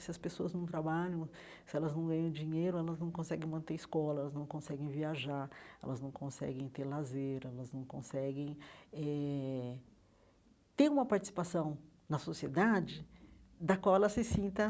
Se as pessoas não trabalham, se elas não ganham dinheiro, elas não conseguem manter escola, elas não conseguem viajar, elas não conseguem ter lazer, elas não conseguem eh ter uma participação na sociedade da qual ela se sinta